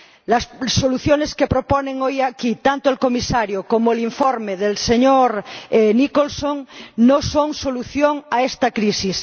Las soluciones que proponen hoy aquí, tanto el Comisario como el informe del señor Nicholson, no son solución a esta crisis.